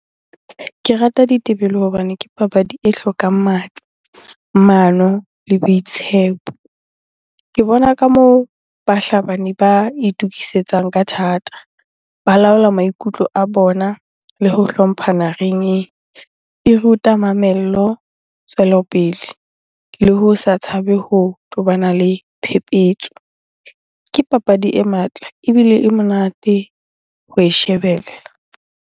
Ke rata ditebele hobane ke papadi e hlokang matla, mano le boitshepo. Ke bona ka moo bahlabani ba itukisetsang ka thata. Balaola maikutlo a bona le ho hlomphana ring-eng. E ruta mamello, tswelopele le ho sa tshabe ho tobana le phepetso. Ke papadi e matla ebile e monate ho e shebella.